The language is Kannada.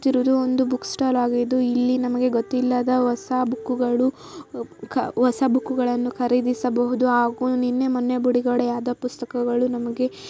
ಇದು ಒಂದು ಬುಕ್‌ ಸ್ಟಾಲ್‌ ಆಗಿದ್ದು ಇಲ್ಲಿ ನಮಗೆ ಗೊತ್ತಿಲ್ಲದ ಹೊಸ ಬುಕ್‌ಗಳು ಹೊಸ ಬುಕ್‌ಗಳನ್ನು ಖರೀದಿಸಬಹುದು ಹಾಗೂ ನಿನ್ನೆ ಮೊನ್ನೆ ಬಿಡುಗಡೆಯಾದ ಪುಸ್ತಕಗಳು ನಮಗೆ --